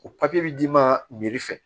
O papiye bi d'i ma meri fɛ